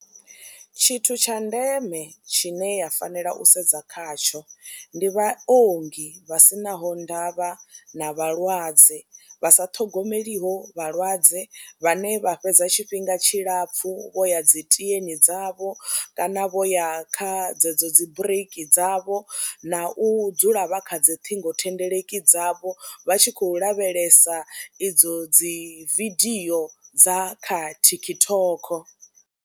Tshithu tsha ndeme tshine ya fanela u sedza khatsho ndi vhaongi vha si naho ndavha na vhalwadze, vha sa ṱhogomeliho vhalwadze, vhane vha fhedza tshifhinga tshilapfhu vho ya dzi tieni dzavho kana vho ya kha dzedzo dzi bureiki dzavho na u dzula vha kha dzi ṱhingothendeleki dzavho vha tshi khou lavhelesa idzo dzi vidio dza kha TikTok.